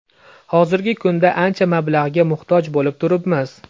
Hozirgi kunda ancha mablag‘ga muhtoj bo‘lib turibmiz.